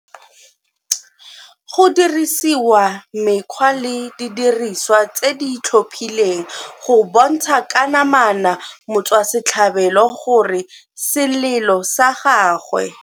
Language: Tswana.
Go dirisiwa mekgwa le didirisiwa tse di itlhophileng go bontsha ka namana motswasetlhabelo gore selelo sa gagwe